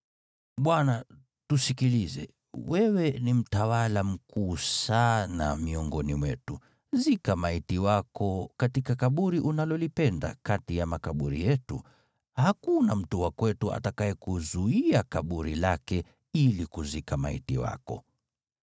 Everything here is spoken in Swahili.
“Bwana, tusikilize. Wewe ni mtawala mkuu sana miongoni mwetu. Zika maiti wako katika kaburi unalolipenda kati ya makaburi yetu. Hakuna mtu wa kwetu atakayekuzuia kaburi lake ili kuzika maiti wako.”